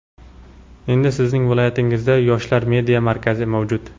endi Sizning viloyatingizda "Yoshlar media markazi" mavjud!.